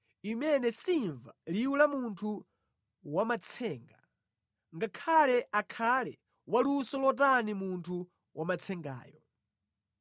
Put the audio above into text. Imene simva liwu la munthu wamatsenga, ngakhale akhale wa luso lotani munthu wamatsengayo.